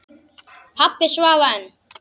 Pabbi svaf enn.